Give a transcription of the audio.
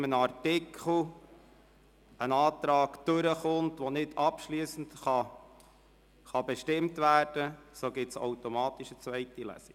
Wenn zu irgendeinem Artikel ein Antrag gutgeheissen wird und der Artikel nicht abschliessend beschlossen werden kann, gibt es automatisch eine zweite Lesung.